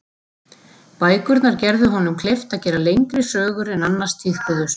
Bækurnar gerðu honum kleift að gera lengri sögur en annars tíðkuðust.